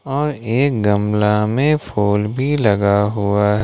और एक गमला में फूल भी लगा हुआ--